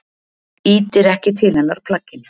Ýtir ekki til hennar plagginu.